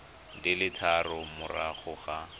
di le tharo morago ga